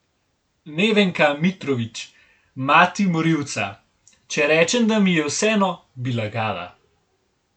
Nevenka Mitrović, mati morilca: "Če rečem, da mi je vseeno, bi lagala.